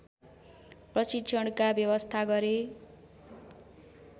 प्रशिक्षणका व्यवस्था गरे